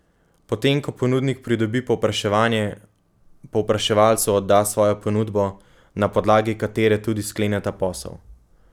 Po tem, ko ponudnik pridobi povpraševanje, povpraševalcu odda svojo ponudbo, na podlagi katere tudi skleneta posel.